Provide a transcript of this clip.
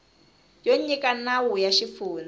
yo nyika nawu ya xifundza